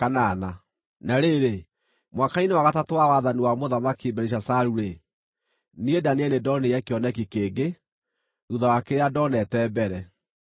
Na rĩrĩ, mwaka-inĩ wa gatatũ wa wathani wa Mũthamaki Belishazaru-rĩ, niĩ Danieli nĩndonire kĩoneki kĩngĩ, thuutha wa kĩrĩa ndoonete mbere.